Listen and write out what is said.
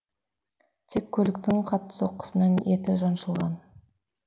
тек көліктің қатты соққысынан еті жаншылған